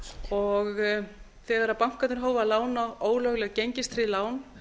og þegar bankarnir hófu að lána ólögleg gengistryggð lán